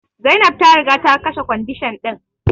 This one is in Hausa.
Zainab ta riga ta kashe kwandishan din.